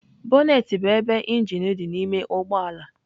Bonnet bụ ebe injin dị n'ime ụgbọ ala.